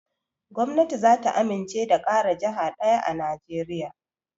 Gwamnati zata amince da ƙara jaha ɗaya a najeriya